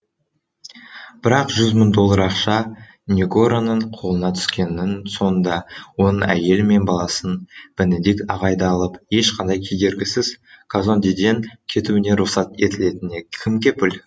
бірақ жүз мың доллар ақша негороның қолына түскеннің соңында оның әйелі мен баласын бенедикт ағайды алып ешқандай кедергісіз казондеден кетуіне рұқсат етілетініне кім кепіл